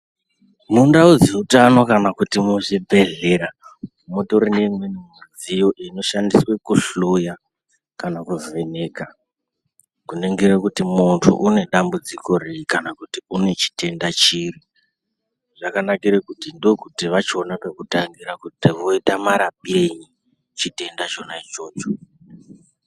Mundau dzeutano kana kuti muzvibhedhleya mutori neimweni midziyo inoshandiswa pakuhloya kana kuvheneka kuningira kuti muntu une dambudziko riri kana kuti une chitenda chiri zvakanakire kuti ndokuti vachiona pekutangira kuti voita marapirei chona chitenda ichocho.